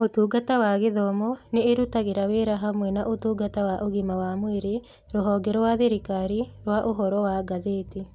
Ũtungata wa Gĩthomo nĩ ĩrutagĩra wĩra hamwe na Ũtungata wa Ũgima wa Mwĩrĩ, Rũhonge rwa Thirikari rwa Ũhoro wa Ngathĩti.